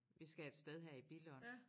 Vi skal et sted her i Billund